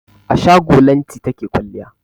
A shago Lanti take kwalliya.